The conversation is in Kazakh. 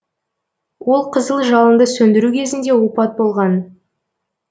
ол қызыл жалынды сөндіру кезінде опат болған